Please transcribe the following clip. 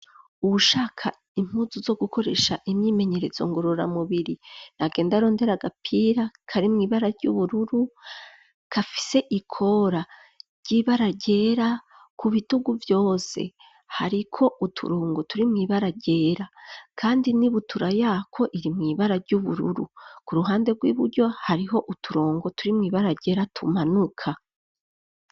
Ushaka impuzu zo gukoresha imyimenyeretso ngorora mubiri na genda rondera gapira kari mu ibara ry'ubururu kafise ikora ry'ibaragera ku bitugu vyose hariko uturongo turi muibaragera kandi n'ibutura yako iri muibara ry'ubururu ku ruhande rw'iburyo hariho uturongo turi muibaragera tumanuka.